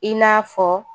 I n'a fɔ